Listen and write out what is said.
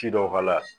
Ci dɔw k'a la